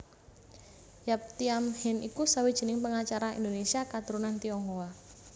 Yap Thiam Hien iku sawijining pengacara Indonésia katurunan Tionghoa